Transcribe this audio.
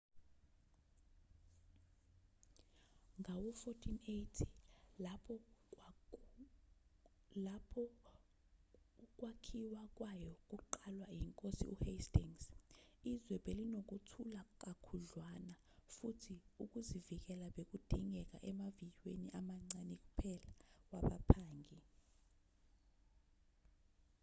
ngawo-1480 lapho ukwakhiwa kwayo kuqalwa inkosi uhastings izwe belinokuthula kakhudlwana futhi ukuzivikela bekudingeka emaviyweni amancane kuphela wabaphangi